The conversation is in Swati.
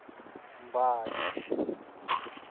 mbali